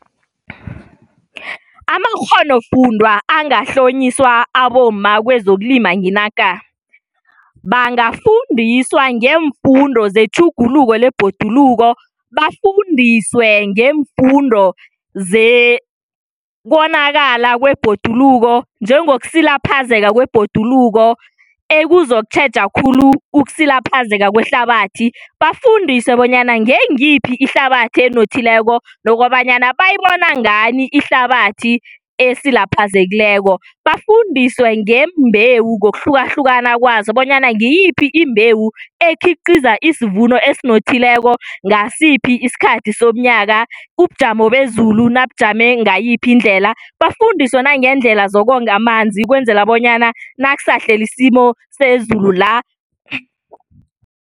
Amakghonofundwa angahlonyiswa abomma kwezokulima nginaka. Bangafundiswa ngeemfundo zetjhuguluko lebhoduluko, bafundiswe ngeemfundo zekonakala kwebhoduluko njengokusilaphazeka kwebhoduluko ekuzokutjheja khulu ukusilaphazeka kwehlabathi. Bafundiswe bonyana ngengiyiphi ihlabathi enothileko nokobanyana bayayibona ngani ihlabathi esilaphazekileko, bafundiswe ngembewu ngokuhlukahlukana kwazo bonyana ngiyiphi imbewu ekhiqiza isvuno esinothileko ngasiphi isikhathi somnyaka ubujamo bezulu nabujame ngayiphi indlela bafundiswe nangendlela zokonga amanzi ukwenzela bonyana naksahlele isimo sezulu la